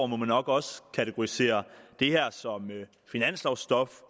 må man nok også kategorisere det her som finanslovstof